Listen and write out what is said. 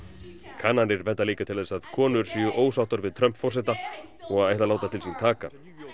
kannanir benda líka til þess að konur séu ósáttar við Trump forseta og ætli að láta til sín taka